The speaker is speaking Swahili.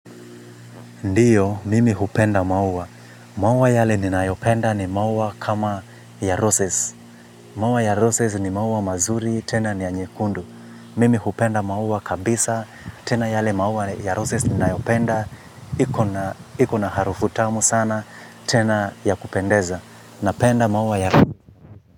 Ndiyo, mimi hupenda mauwa. Mauwa yale ni nayopenda ni mauwa kama ya roses. Mauwa ya roses ni mauwa mazuri tena niya nyekundu. Mimi hupenda mauwa kabisa tena yale mauwa ya roses ni nayopenda. Ikona harufu tamu sana tena ya kupendeza. Napenda mauwa ya.